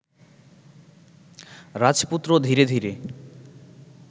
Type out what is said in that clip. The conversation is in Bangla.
রাজপুত্র ধীরে ধীরে